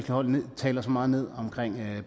hold taler så meget ned om